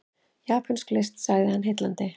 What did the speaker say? Japönsk list sagði hann, heillandi.